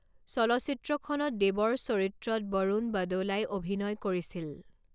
চলচ্চিত্ৰখনত দেৱৰ চৰিত্ৰত বৰুণ বদোলাই অভিনয় কৰিছিল।